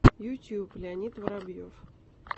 ютуб леонид воробьев